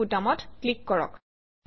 save বুটামত click কৰক